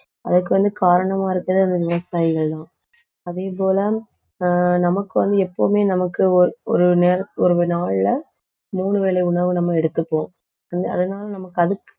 அதுக்கு வந்து காரணமா இருக்கிற இந்த விவசாயிகள்தான் அதே போல ஆஹ் நமக்கு வந்து எப்பவுமே நமக்கு ஒ~, ஒரு ந~ ஒரு நாள்ல மூணு வேளை உணவு நம்ம எடுத்துப்போம். அதனால நமக்கு